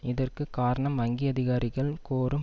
இதற்கு காரணம் வங்கி அதிகாரிகள் கோரும்